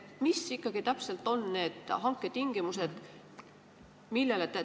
Millised ikkagi täpselt on need hanke tingimused?